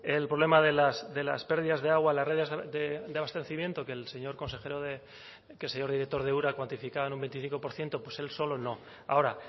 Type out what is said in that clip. el problema de las pérdidas de agua en las redes de abastecimiento que el señor consejero de que el señor director de ura cuantificaba en un veinticinco por ciento pues él solo no ahora